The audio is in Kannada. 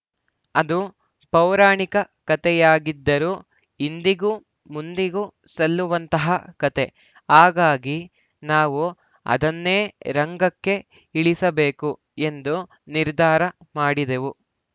ಅದು ಪೌರಾಣಿಕ ಕತೆಯಾಗಿದ್ದರೂ ಇಂದಿಗೂ ಮುಂದಿಗೂ ಸಲ್ಲುವಂತಹ ಕತೆ ಹಾಗಾಗಿ ನಾವು ಅದನ್ನೇ ರಂಗಕ್ಕೆ ಇಳಿಸಬೇಕು ಎಂದು ನಿರ್ಧಾರ ಮಾಡಿದೆವು